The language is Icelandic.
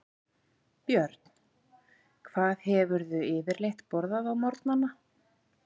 Björn: Hvað hefurðu yfirleitt borðað á morgnanna?